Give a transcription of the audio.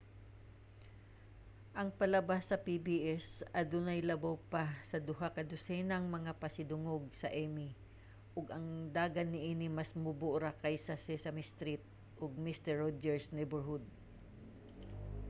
ang palabas sa pbs adunay labaw pa sa duha ka dosenag mga pasidungog sa emmy ug ang dagan niini mas mubo ra kaysa sa sesame street ug mister roger's neighborhood